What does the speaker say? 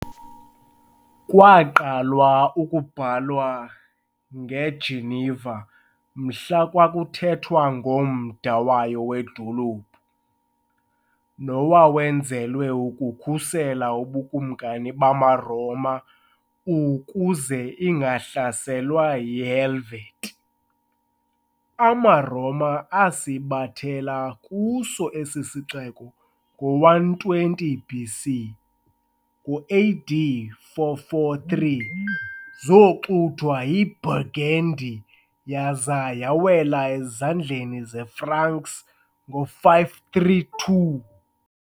Kwaqalwa ukubhalwa ng"eGeneva" mhla kwakuthethwa ngomda wayo wedolophu, nowawenzelwe ukukhusela ubukumkani bamaRoma ukuze ingahlaselwa yiHelvetii. AmaRoma asithabathela kuso esi sixeko ngo-120 B.C. Ngo-A.D. 443 soxuthwa yiBurgundy, yaza yawela ezandleni zeFranks ngo-534.